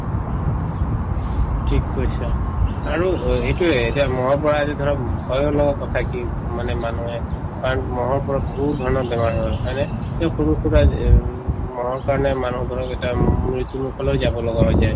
ঠিক কৈছা আৰু অ এইটোয়ে যে মহৰ পৰা আজি ধৰক উম মানে মানুহে কাৰণ মহৰ পৰা বহুত ধৰণৰ বেমাৰ হয় হয়নে এই সৰুসুৰা যে এইম মহৰ কাৰণে মানুহৰ ধৰক এটা উম মৃত্যুমুখলৈ যাব লগা হৈ যায়